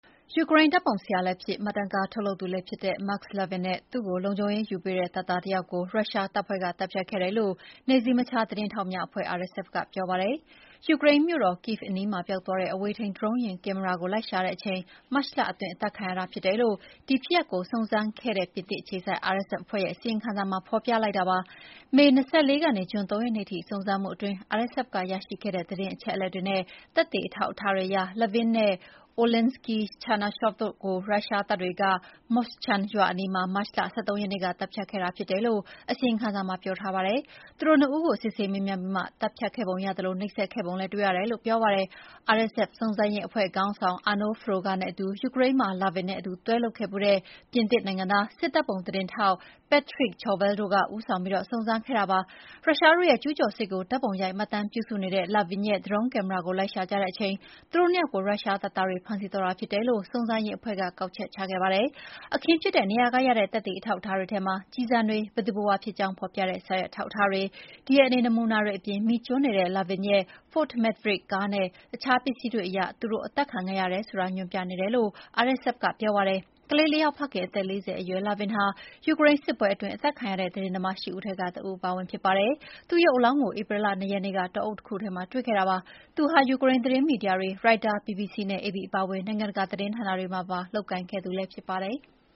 ယူကရိန်း ဓာတ်ပုံဆရာလည်းဖြစ် မှတ်တမ်းကားထုတ်လုပ်သူလည်းဖြစ်တဲ့ Maks Levin နဲ့ သူ့ကိုလုံခြုံရေးယူပေးတဲ့တပ်သားတယောက်ကို ရုရှားတပ်ဖွဲ့က သတ်ဖြတ်ခဲ့တယ်လို့ နယ်စည်းမခြားသတင်းထောက်များအဖွဲ့ RSF ကပြောပါတယ်။ ယူကရိန်းမြို့တော် Kyiv အနီးမှာ ပျောက်သွားတဲ့ အဝေးထိန်းဒရုန်းကင်မရာကို လိုက်ရှာခဲ့တဲ့အချိန် မတ်လအတွင်း အသတ်ခံလိုက်ရတာဖြစ်တယ်လို့ ဒီဖြစ်ရပ်ကို စုံစမ်းခဲ့တဲ့ ပြင်သစ်အခြေစိုက် RSF အဖွဲ့ရဲ့အစီရင်ခံစာမှာ ဖော်ပြလိုက်တာပါ။ မေ ၂၄ ကနေ ဂျွန်၃ ရက်နေ့ထိစုံစမ်းမှုအတွင်း FSF ကရရှိခဲ့တဲ့ သတင်းအချက်အလက်တွေနဲ့ သက်သေအထောက်အထားတွေအရ Levin နဲ့ Oleksiy Chernyshov တို့်ကို ရုရှားတပ်တွေက Moshchun ရွာအနီးမှာ မတ်လ ၁၃ ရက်နေ့က သတ်ဖြတ်ခဲ့တာ ဖြစ်တယ်လို့အစီရင်ခံစာမှာပြောထားပါတယ်။ သူတို့နှစ်ဦးကို စစ်ဆေးမေးမြန်းပြီးမှသတ်ဖြတ်ခဲ့ပုံရသလို နှိပ်စက်ခဲ့ပုံလည်းတွေ့ ရတယ်လို့လည်းပြောပါတယ်။ RSF စုံစမ်းရေးအဖွဲ့ခေါင်းဆောင် Arnaud Froger နဲ့အတူ ယူကရိန်းမှာ Levin နဲ့အတူတွဲလုပ်ခဲ့ဖူးတဲ့ ပြင်သစ်နိုင်ငံသား စစ်ဓာတ်ပုံသတင်းထောက် Patrick Chauvel တို့က ဦးဆောင်ပြီး စုံစမ်းစစ်ဆေးခဲ့ကြတာပါ။ ရုရှားတို့ရဲ့ကျူးကျော်စစ်ကို ဓာတ်ပုံရိုက်မှတ်တမ်းပြုစုနေတဲ့ Levin ရဲ့ ဒရုန်းကင်မရာကို လိုက်ရှာကြတဲ့အချိန် သူတို့၂ ယောက်ကို ရုရှားတပ်သားတွေဖမ်းဆီးသွားတာဖြစ်တယ်လို့ စုံစမ်းရေးအဖွဲ့က ကောက်ချက်ချခဲ့ပါတယ်။ အခင်းဖြစ်တဲ့နေရာက ရတဲ့သက်သေအထောက်အထားတွေထဲမှာ ကျည်ဆံတွေ၊ ဘယ်သူဘယ်ဝါဖြစ်ကြောင်းဖော်ပြတဲ့ စာရွက်အထောက်အထားတွေ၊ DNA နမူနာတွေအပြင် မီးကျွမ်းနေတဲ့ Levin ရဲ့ Ford Maverick ကားနဲ့ ရှာတွေ့ခဲ့တဲ့အခြားပစ္စည်းတွေအရ သူတို့အသက်ခံခဲ့ရတယ်ဆိုတာညွှန်ပြနေတယ်လို့ RSF ကပြောပါတယ်။ ကလေး ၄ ယောက်ဖခင်၊ အသက် ၄၀ အရွယ် Levin ဟာ ယူကရိန်းစစ်ပွဲအတွင်း အသတ်ခံရတဲ့ သတင်းသမား ၈ ဦးထဲက တဦးအပါအဝင်ဖြစ်ပါတယ်။ သူ့ရုပ်အလောင်းကို ဧပြီလ ၂ ရက်နေ့က တောအုပ်တခုထဲမှာတွေ့ခဲ့တာပါ။ သူဟာ ယူကရိန်းသတင်းမီဒီယာတွေ၊ Reuters, BBC နဲ့ AP အပါအဝင် နိုင်ငံတကာသတင်းဌာနတွေမှာ ပါလုပ်ကိုင်ခဲ့သူလည်းဖြစ်ပါတယ်။